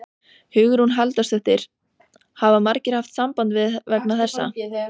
Hugrún Halldórsdóttir: Hafa margir haft samband við þig vegna þessa?